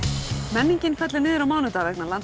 menningin fellur niður á mánudag vegna